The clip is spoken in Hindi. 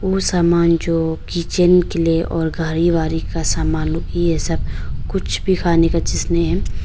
उ सामान जो किचन के लिए और घारी वारी का सामान ये सब कुछ भी खाने का जिसने--